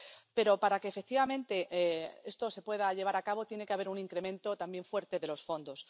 Pero para que efectivamente esto se pueda llevar a cabo, tiene que haber un incremento también fuerte de los fondos.